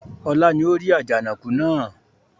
Ọlá ni ó rí Àjànàkú náà